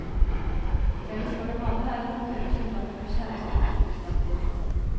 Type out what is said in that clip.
Felles for dem alle er at de hører til blant våre kjæreste kulturskatter.